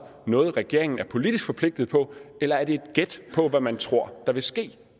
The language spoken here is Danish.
noget regeringen er politisk forpligtet på eller er det et gæt på hvad man tror der vil ske